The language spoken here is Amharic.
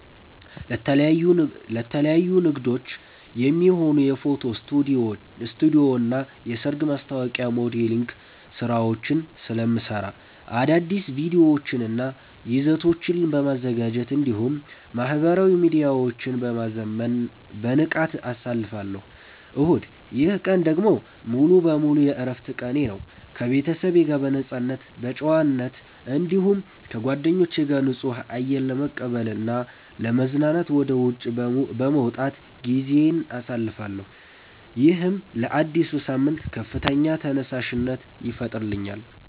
ለተለያዩ ንግዶች የሚሆኑ የፎቶ ስቱዲዮና የሰርግ ማስታወቂያ ሞዴሊንግ ሥራዎችን ስለምሠራ፣ አዳዲስ ቪዲዮዎችንና ይዘቶችን በማዘጋጀት እንዲሁም ማኅበራዊ ሚዲያዎቼን በማዘመን በንቃት አሳልፋለሁ። እሁድ፦ ይህ ቀን ደግሞ ሙሉ በሙሉ የዕረፍት ቀኔ ነው። ከቤተሰቤ ጋር በነፃነት በመጨዋወት፣ እንዲሁም ከጓደኞቼ ጋር ንጹህ አየር ለመቀበልና ለመዝናናት ወደ ውጪ በመውጣት ጊዜዬን አሳልፋለሁ። ይህም ለአዲሱ ሳምንት ከፍተኛ ተነሳሽነት ይፈጥርልኛል።